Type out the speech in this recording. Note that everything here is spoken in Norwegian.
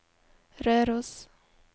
Røros